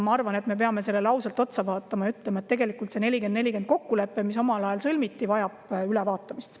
Ma arvan, et me peame sellele otsa vaatama ja ausalt ütlema, et see 40 : 40 kokkulepe, mis omal ajal sõlmiti, vajab ülevaatamist.